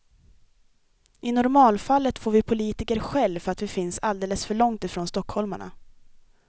I normalfallet får vi politiker skäll för att vi finns alldeles för långt ifrån stockholmarna.